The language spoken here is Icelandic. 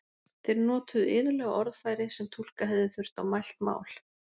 Þeir notuðu iðulega orðfæri sem túlka hefði þurft á mælt mál.